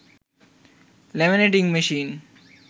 laminating machine